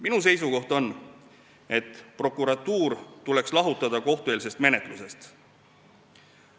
Minu seisukoht on, et prokuratuur tuleks lahutada kohtueelsest menetlusest.